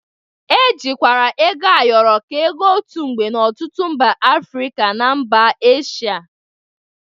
E jikwara ego ayọrọ ka ego otu mgbe n'ọtụtụ mba Afrịka na mba Esha